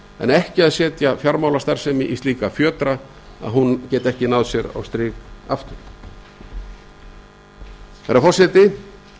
en ekki að setja fjármálastarfsemi í slíkra fjötra að hún nái sér ekki á strik á ný hæstvirtur forseti